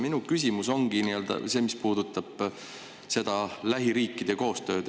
Minu küsimus puudutabki lähiriikide koostööd.